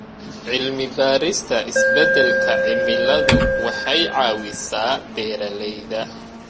Cilmi-baarista isbeddelka cimiladu waxay caawisaa beeralayda.